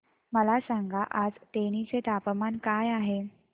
मला सांगा आज तेनी चे तापमान काय आहे